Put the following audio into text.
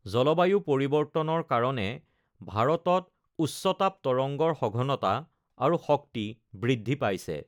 জলবায়ু পৰিৱৰ্তনৰ কাৰণে ভাৰতত উচ্চতাপ তৰংগৰ সঘনতা আৰু শক্তি বৃদ্ধি পাইছে।